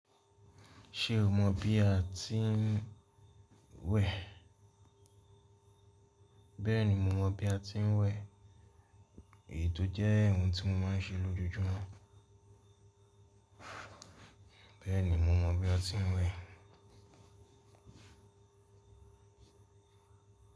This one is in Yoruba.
Ṣe o mọ bi a ti ń wẹ̀? Bẹ́ẹ̀ni, mo mọ bi a ti ń wẹ̀. Èyí ò jẹ́ ohun tí mo máa ń ṣe lójoojúmọ́. Bẹ́ẹ̀ni, mo mọ bi a ti ń wẹ̀.